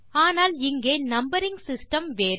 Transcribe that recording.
ஆனால் இங்கே numbering system வேறு